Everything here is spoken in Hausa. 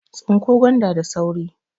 Tsinko gwanda da sauri!